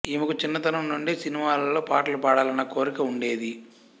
ఈమెకు చిన్నతనం నుండే సినిమాలలో పాటలు పాడాలన్న కోరిక ఉండేది